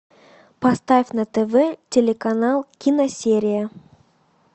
поставь на тв телеканал киносерия